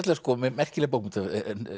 merkileg bókmenntahefð